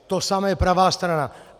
To samé pravá strana.